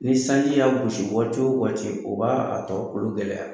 Ni sanji y'a gosi waati o waati o b'a a tɔ kolon gɛlɛya.